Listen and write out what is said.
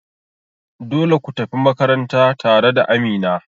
Dole kutafi makaranta tare da Amina.